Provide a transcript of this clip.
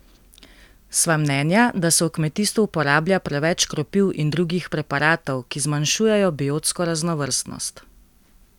Sva mnenja, da se v kmetijstvu uporablja preveč škropiv in drugih preparatov, ki zmanjšujejo biotsko raznovrstnost.